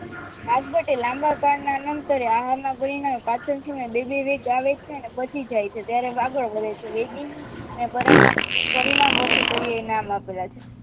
આજ વાડે લાંબા કાળના આહારના પરિણામે પાચનના સમયે બે બે વેગ આવે છે અને પચી જાય છે ત્યારે આગળ વધે છે વેગેની અને પરિણામ વર્તીય પરીયાય નામ આપેલા છે